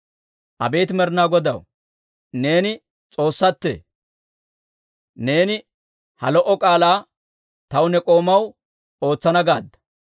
Abeet Med'inaa Godaw, neeni S'oossaattee! Neeni ha lo"o k'aalaa taw ne k'oomaw ootsana gaadda.